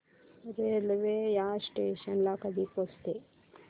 railway या station ला कधी पोहचते